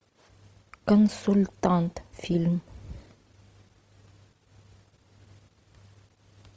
консультант фильм